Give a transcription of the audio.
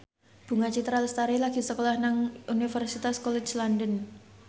Bunga Citra Lestari lagi sekolah nang Universitas College London